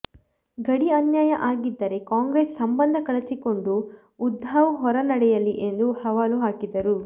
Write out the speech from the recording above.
ಗಡಿ ಅನ್ಯಾಯ ಆಗಿದ್ದರೆ ಕಾಂಗ್ರೆಸ್ ಸಂಬಂಧ ಕಳಚಿಕೊಂಡು ಉದ್ಧವ್ ಹೊರ ನಡೆಯಲಿ ಎಂದು ಸವಾಲು ಹಾಕಿದರು